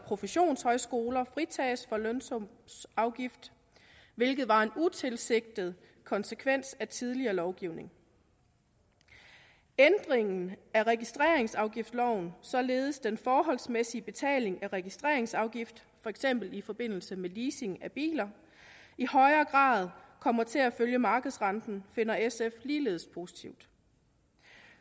professionshøjskoler fritages for lønsumsafgift hvilket var en utilsigtet konsekvens af tidligere lovgivning ændringen af registreringsafgiftsloven således at den forholdsmæssige betaling af registreringsafgift for eksempel i forbindelse med leasing af biler i højere grad kommer til at følge markedsrenten finder sf ligeledes positivt